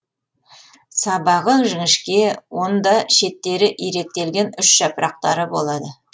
сабағы жіңішке онда шеттері иректелген үш жапырақтары болады